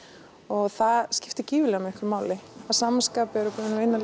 og það skiptir gífurlega miklu máli að sama skapi erum við búin að vinna